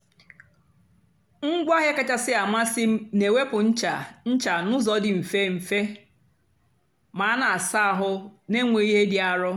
ngwaáahịa kachásị́ àmasị́ m na-èwèpụ́ nchá nchá n'ụ́zọ́ dị́ mfe mfe ma a na-àsa àhụ́ na-ènwèghị́ ìhé dị́ àrọ́.